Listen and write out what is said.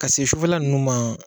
Ka se sufɛla nunnu ma